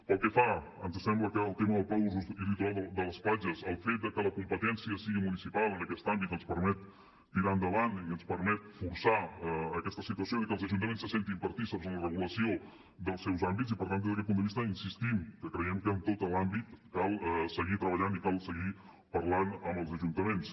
pel que fa a ens sembla que al tema del pla d’usos i litoral de les platges el fet de que la competència sigui municipal en aquest àmbit ens permet tirar endavant i ens permet forçar aquesta situació de que els ajuntaments se sentin partícips en la regulació dels seus àmbits i per tant des d’aquest punt de vista insistim que creiem que en tot l’àmbit cal seguir treballant i cal seguir parlant amb els ajuntaments